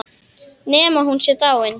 Nema hún sé dáin.